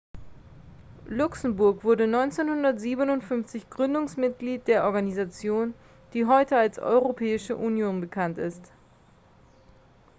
luxemburg wurde 1957 gründungsmitglied der organisation die heute als europäische union bekannt ist